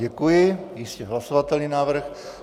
Děkuji, jistě hlasovatelný návrh.